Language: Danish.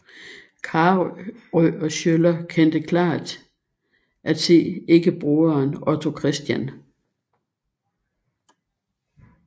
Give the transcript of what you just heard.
Carøe og Schøller kendte klart at se ikke broderen Otto Christian